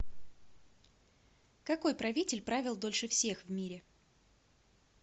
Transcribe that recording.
какой правитель правил дольше всех в мире